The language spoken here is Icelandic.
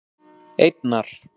einnar